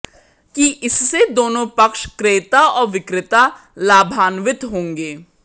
कि इससे दोनों पक्ष क्रेता और विक्रेता लाभान्वित होंगे